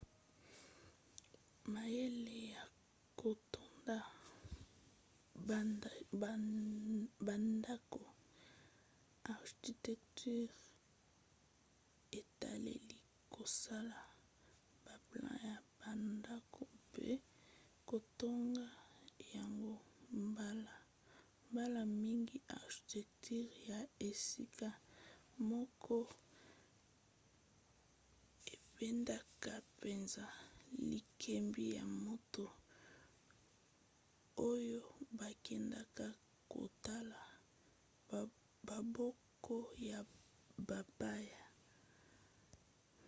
mayele ya kotonga bandako architecture etaleli kosala baplan ya bandako mpe kotonga yango. mbala mingi architecture ya esika moko ebendaka mpenza likebi ya bato oyo bakendaka kotala bamboka ya bapaya